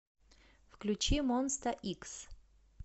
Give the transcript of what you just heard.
включи монста икс